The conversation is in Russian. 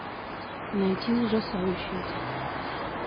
найти ужасающий